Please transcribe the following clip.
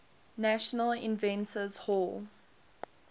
national inventors hall